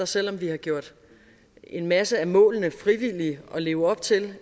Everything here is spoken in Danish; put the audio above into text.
selv om vi har gjort en masse af målene frivillige at leve op til